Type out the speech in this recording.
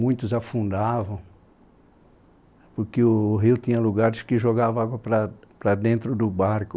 Muitos afundavam, porque o rio tinha lugares que jogavam água para para dentro do barco.